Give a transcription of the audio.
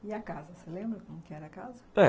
E a casa, você lembra como que era a casa?